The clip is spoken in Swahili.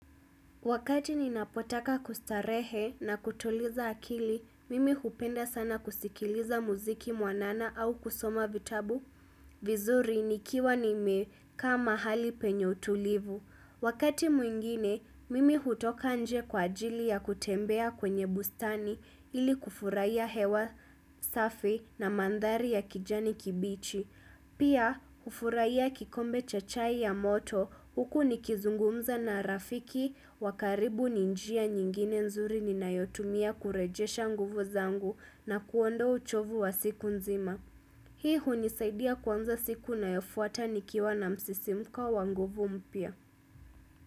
Wakati ninapotaka kustarehe na kutuliza akili, mimi hupenda sana kusikiliza muziki mwanana au kusoma vitabu. Vizuri nikiwa nimekaa mahali penye utulivu. Wakati mwingine, mimi hutoka nje kwa ajili ya kutembea kwenye bustani ili kufurahia hewa safi na mandhari ya kijani kibichi. Pia, hufurahia kikombe cha chai ya moto, huku nikizungumza na rafiki, wa karibu ni njia nyingine nzuri ninayotumia kurejesha nguvu zangu na kuondoa uchovu wa siku nzima. Hii hunisaidia kuanza siku inayofuata nikiwa na msisimuko wa nguvu mpya.